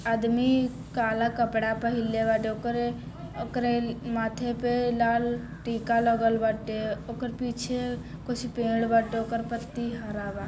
आदमी काला कपड़ा पहिनले बाद ओकरे ओकरे माथे पर लाल टीका लगल बाटे ओकर पीछे कुछ पेड़ बाटे ओकर पत्ती हरा बा।